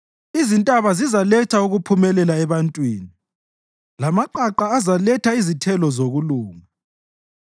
Izintaba zizaletha ukuphumelela ebantwini, lamaqaqa azaletha izithelo zokulunga.